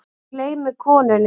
Hún gleymir konunni.